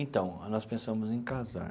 Então, nós pensamos em casar.